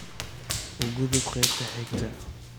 u gudub qaybta xigta